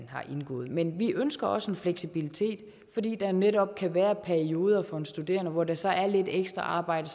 indgået men vi ønsker også en fleksibilitet fordi der netop kan være perioder for en studerende hvor der så er lidt ekstra arbejde